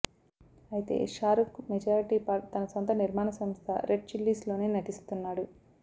అయితే Shahrukh majority part తన సొంత నిర్మాణ సంస్థ రెడ్ చిల్లీస్లోనే నటిస్తున్నాడు